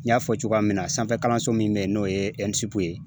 N y'a fɔ cogoya min na sanfɛkalanso min bɛ yen n'o ye ye